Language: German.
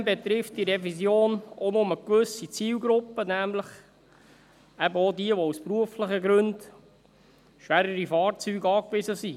Zudem betrifft diese Revision auch nur gewisse Zielgruppen, nämlich eben auch diejenigen, die aus beruflichen Gründen auf schwerere Fahrzeuge angewiesen sind.